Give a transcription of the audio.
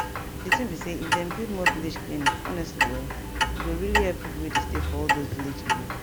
di thing be say if dem build more village clinic honestly[um]e go really help pipo wey dey stay for all those village area